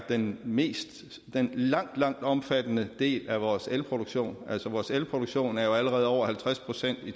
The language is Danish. den mest omfattende del af vores elproduktion altså vores elproduktion er jo allerede på over halvtreds procent i